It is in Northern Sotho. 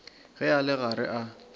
ge a le gare a